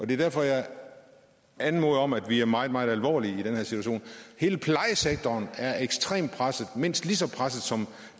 det er derfor jeg anmoder om at vi er meget meget alvorlige i den her situation hele plejesektoren er ekstremt presset mindst lige så presset som